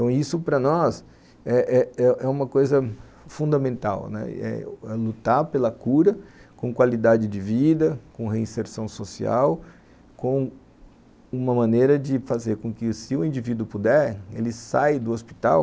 Então isso para nós é é é uma coisa fundamental, né, é lutar pela cura com qualidade de vida, com reinserção social, com uma maneira de fazer com que se o indivíduo puder, ele sai do hospital